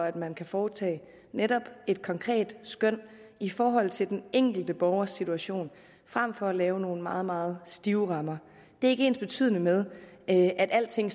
at man kan foretage et konkret skøn i forhold til den enkelte borgers situation frem for at lave nogle meget meget stive rammer det er ikke ensbetydende med at alting